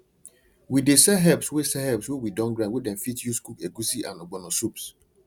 we dey sell herbs wey sell herbs wey we don grind wey dem fit use cook egusi and ogbono soups